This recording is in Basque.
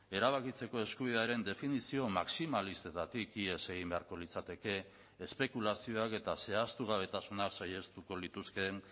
erabakitzeko eskubidearen definizio maximalistetatik ihes egin beharko litzateke espekulazioak eta zehaztugabetasunak saihestuko lituzkeen